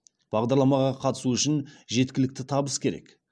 бағдарламаға қатысу үшін жеткілікті табыс керек